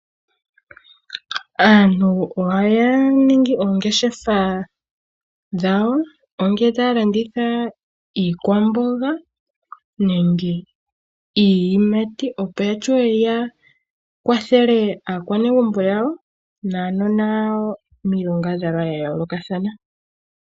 Aantu ohaya ningi oongeshefa dhawo ongele otaya landitha iikwamboga nenge iiyimati, opo ya wape ya kwathele aakwanegumbo yawo naanona yawo miilongadhalwa ya yoolokathana.